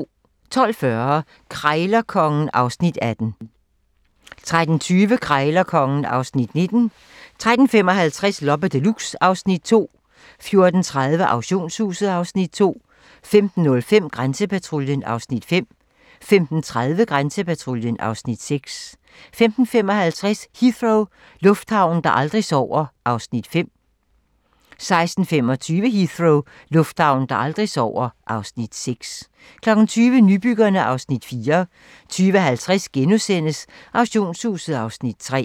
12:40: Krejlerkongen (Afs. 18) 13:20: Krejlerkongen (Afs. 19) 13:55: Loppe Deluxe (Afs. 2) 14:30: Auktionshuset (Afs. 2) 15:05: Grænsepatruljen (Afs. 5) 15:30: Grænsepatruljen (Afs. 6) 15:55: Heathrow - lufthavnen, der aldrig sover (Afs. 5) 16:25: Heathrow - lufthavnen, der aldrig sover (Afs. 6) 20:00: Nybyggerne (Afs. 4) 20:50: Auktionshuset (Afs. 3)*